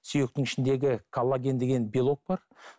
сүйектің ішіндегі коллаген деген белок бар